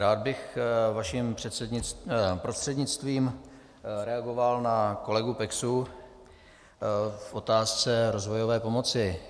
Rád bych vaším prostřednictvím reagoval na kolegu Peksu v otázce rozvojové pomoci.